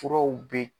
Furaw bɛ